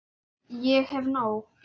Ég hef nóg.